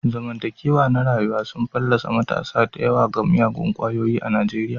Zamantakewa na rayuwa sun fallasa matasa da yawa ga miyagun kwayoyi a Nijeriya.